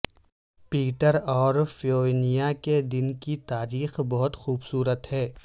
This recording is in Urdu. پیٹر اور فیوونیا کے دن کی تاریخ بہت خوبصورت ہے